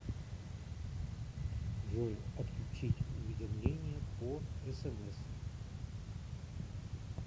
джой отключить уведомления по смс